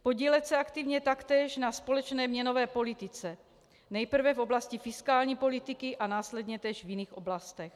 Podílet se aktivně taktéž na společné měnové politice nejprve v oblasti fiskální politiky a následně též v jiných oblastech.